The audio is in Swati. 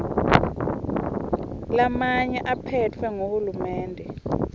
lamanye aphetfwe nguhulumende